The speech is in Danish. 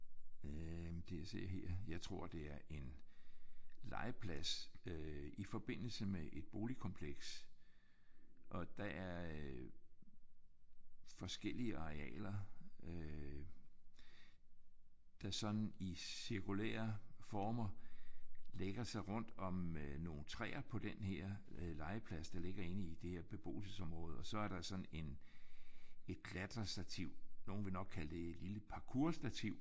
Øh det jeg ser her jeg tror det er en legeplads øh i forbindelse med et boligkompleks og der er øh forskellige arealer øh der sådan i cirkulære former lægger sig rundt om øh nogle træer på den her legeplads der ligger inde i det her beboelsesområde og så er der et klatrestativ. Nogle ville nok kalde det et lille parkourstativ